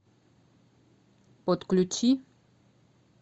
подключи